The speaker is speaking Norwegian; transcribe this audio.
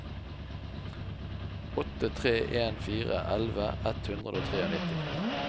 åtte tre en fire elleve ett hundre og nittitre